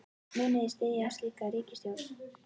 Munið þið styðja slíka ríkisstjórn?